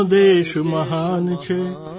ભારત વિશ્વની શાન છે ભાઇ